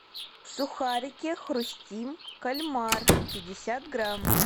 сухарики хрустим кальмар пятьдесят грамм